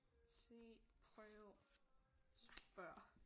Se prøv spørg